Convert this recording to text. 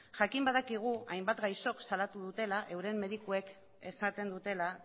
jakin badakigu hainbat gaixok salatu dutela euren medikuek esaten dutela